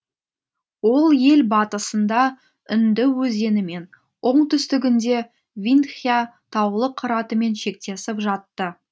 ол ел батысында үнді өзенімен оңтүстігінде виндхъя таулы қыратымен шектесіп жатты